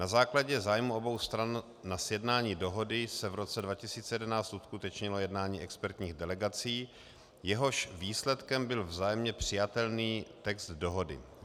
Na základě zájmu obou stran na sjednání dohody se v roce 2011 uskutečnilo jednání expertních delegací, jehož výsledkem byl vzájemně přijatelný text dohody.